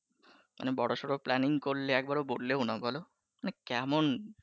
মানে বড়সর planning করলে একবারও বললেও না বলো মানে কেমন